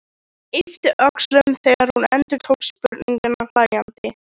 Yppti öxlum þegar hún endurtók spurninguna hlæjandi.